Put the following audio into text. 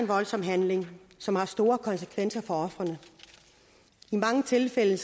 voldsom handling som har store konsekvenser for ofrene i mange tilfælde